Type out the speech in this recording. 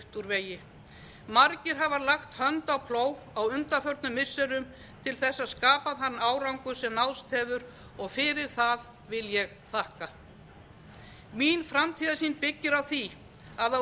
vegi margir hafa lagt hönd á plóg á undanförnum missirum til þess að skapa þann árangur sem náðst hefur og fyrir það vil ég þakka mín framtíðarsýn byggir á því að á